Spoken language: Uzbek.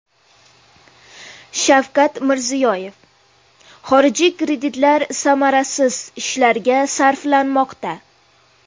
Shavkat Mirziyoyev: Xorijiy kreditlar samarasiz ishlarga sarflanmoqda.